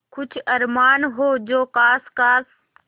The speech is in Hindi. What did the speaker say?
कुछ अरमान हो जो ख़ास ख़ास